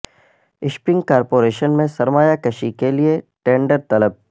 shipping corporation میں سرمایہ کشی کے لئے ٹینڈر طلب